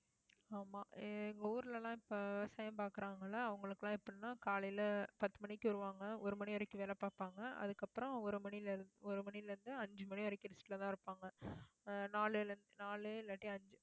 ஆமா எங்க ஊர்ல எல்லாம், இப்ப விவசாயம் பாக்குறாங்கல்ல அவங்களுக்கு எல்லாம் எப்படின்னா காலையில பத்து மணிக்கு வருவாங்க ஒரு மணி வரைக்கும் வேலை பார்ப்பாங்க. அதுக்கப்புறம் ஒரு மணியில இருந்து, ஒரு மணியில இருந்து, அஞ்சு மணி வரைக்கும் rest லதான் இருப்பாங்க ஆஹ் நாலு நாலு இல்லாட்டி அஞ்சு